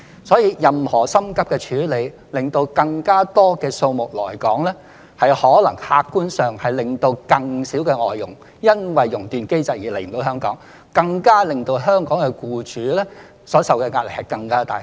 所以，急於希望讓更多外傭來港，可能客觀上反而會因為更多地觸發"熔斷機制"而令更多外傭無法來港，從而加重香港僱主所承受的壓力。